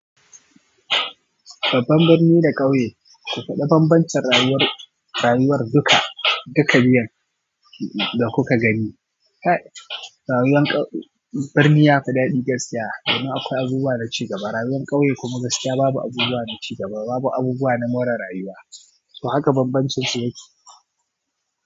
Babban birni da ƙauye, ku faɗa banbancin rayuwar, rayuwar duka, duka biyun da kuka gani. Rayuwan ƙau, birni yafi daɗi gaskiya, domin akwai abubuwa na cigaba. Rayuwan ƙauye kuma gaskiya babu abubuwa na cigaba, babu abubuwa na more rayuwa. To haka banbancinsu yake.